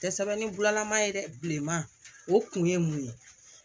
Tɛ sɛbɛn ni bulalama ye dɛman o kun ye mun ye